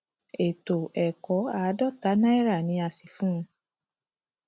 ètò ẹkọ àádọta náírà ni a sì fún un